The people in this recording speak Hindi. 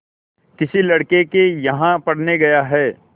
किसी लड़के के यहाँ पढ़ने गया है